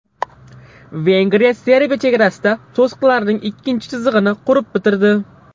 Vengriya Serbiya chegarasida to‘siqlarning ikkinchi chizig‘ini qurib bitirdi.